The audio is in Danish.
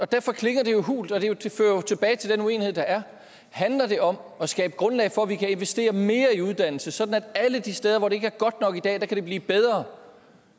derfor klinger det jo hult og det fører tilbage til den uenighed der er handler det om at skabe grundlag for at vi kan investere mere i uddannelse sådan at det alle de steder hvor det ikke er godt nok i dag kan blive bedre